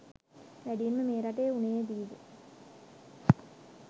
වැඩියෙන්ම මේ රටේ වුනේදි ද?